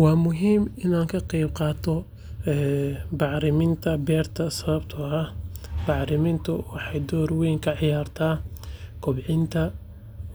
Waa muhiim in aan ka qaybqaato bacriminta beerta sababtoo ah bacrimintu waxay door weyn ka ciyaartaa kobcinta